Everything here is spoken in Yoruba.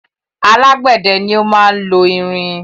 Alágbẹ̀dẹ ni o máa lo irin